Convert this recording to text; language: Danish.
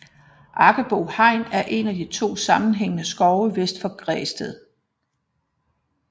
Aggebo Hegn er en af to sammenhængende skove vest for Græsted